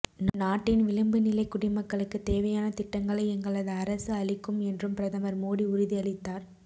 நாட்டின் விளிம்புநிலை குடிமக்களுக்கு தேவையான திட்டங்களை எங்களது அரசு அளிக்கும் என்றும் பிரதமர் மோடி உறுதி அளித்தார்